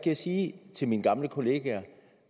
jeg sige til mine gamle kollegaer